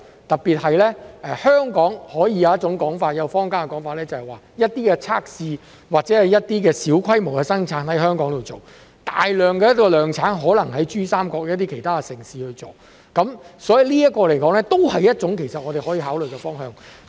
特別是香港有一種說法，坊間的說法是一些測試或一些小規模的生產在香港進行，大量的量產可能在珠三角一些其他城市進行，這一亦是我們可以考慮的方向。